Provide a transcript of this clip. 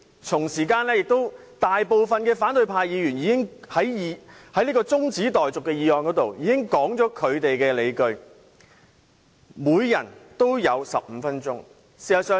同時間，大部分反對派議員已在中止待續議案辯論時道出他們的理據，各人也有15分鐘發言。